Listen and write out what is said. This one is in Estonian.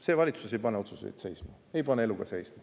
See valitsus ei pane otsuseid seisma, ei pane elu ka seisma.